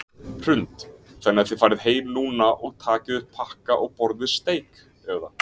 Hrund: Þannig að þið farið heim núna og takið upp pakka og borðið steik eða?